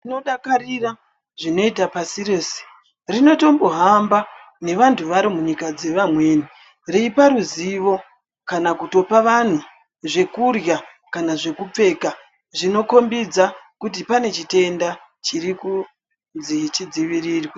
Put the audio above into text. Tinodakarira zvinoita pasi rese rinotombohamba nevantu varo munyika dzevamweni, reipa ruzivo, kana kutopa vanhu zvekurya , kana zvekupfeka zvinokombidza kuti pane chitenda chirikunzi chidzivirirwe.